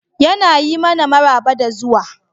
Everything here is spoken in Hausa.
Yana yi mana maraba da zuwa.